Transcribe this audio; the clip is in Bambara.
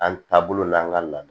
An taabolo n'an ka lamɛn